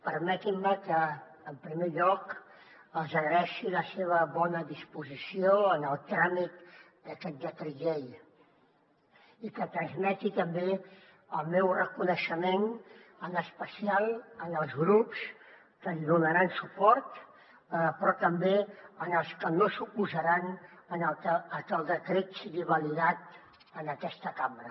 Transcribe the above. permetin me que en primer lloc els agraeixi la seva bona disposició en el tràmit d’aquest decret llei i que transmeti també el meu reconeixement en especial als grups que li donaran suport però també als que no s’oposaran a que el decret sigui validat en aquesta cambra